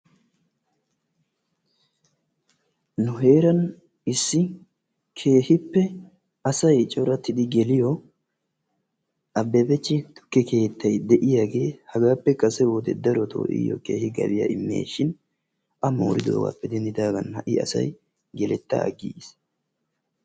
Nu heeran issi keehippe asay coratidi geliyo Ababach tukke keettay de'iiyaagee hagaappe kase wode darotoo gabbiya immes dhin A moridoogappe denddidaaga ha'i asay geletta agiggiis.